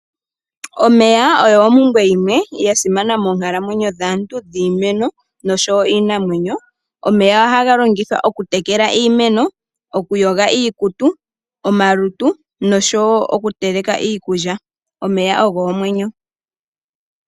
Omeya ogo oshipumbiwa shimwe sha simana monkalamwenyo dhaantu niimeno noshowo iinamwenyo, omeya ohaga longithwa oku tekela iimeno, okuyoga iikutu, omalutu noshowo okuteleka iikulya. Oomeya ogo omwenyo.